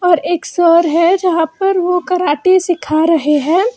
और एक सर हैं जहां पर वो कराटे सिखा रहे हैं।